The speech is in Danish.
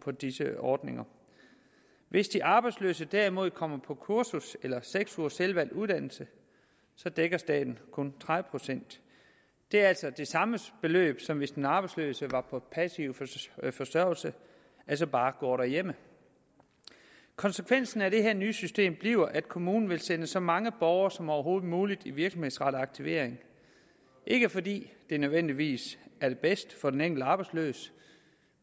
på disse ordninger hvis de arbejdsløse derimod kommer på kursus eller seks ugers selvvalgt uddannelse dækker staten kun tredive procent det er altså det samme beløb som hvis den arbejdsløse var på passiv forsørgelse altså bare går derhjemme konsekvensen af det her nye system bliver at kommunen vil sende så mange borgere som overhovedet muligt i virksomhedsrettet aktivering ikke fordi det nødvendigvis er bedst for den enkelte arbejdsløse